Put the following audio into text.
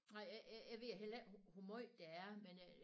Nej jeg ved heller ikke hvor måj det er men øh